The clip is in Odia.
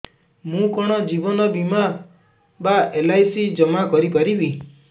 ମୁ କଣ ଜୀବନ ବୀମା ବା ଏଲ୍.ଆଇ.ସି ଜମା କରି ପାରିବି